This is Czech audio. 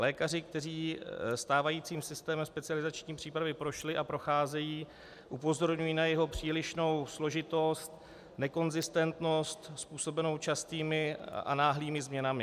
Lékaři, kteří stávajícím systémem specializační přípravy prošli a procházejí, upozorňují na jeho přílišnou složitost, nekonzistentnost způsobenou častými a náhlými změnami.